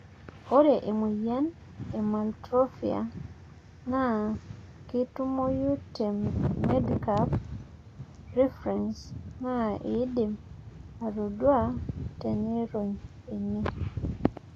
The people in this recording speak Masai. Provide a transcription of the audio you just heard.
ore emoyian e maltophilia naa ketumoyu te Medcape Reference naa idim atodua tenirony ene